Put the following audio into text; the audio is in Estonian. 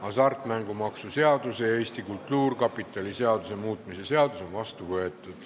Hasartmängumaksu seaduse ja Eesti Kultuurkapitali seaduse muutmise seadus on vastu võetud.